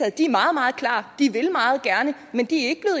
at de er meget meget klare de vil meget gerne men de er ikke